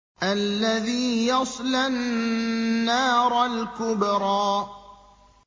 الَّذِي يَصْلَى النَّارَ الْكُبْرَىٰ